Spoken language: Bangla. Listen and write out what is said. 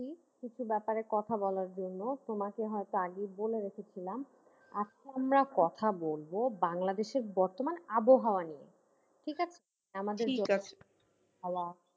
কিছু ব্যাপারে কথা বলার জন্য তোমাকে হয়তো আগেই বলে রেখেছিলাম, আজকে আমরা কথা বলব বাংলাদেশের বর্তমান আবহাওয়া নিয়ে ঠিক আছে